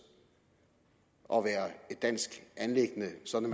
og være et dansk anliggende sådan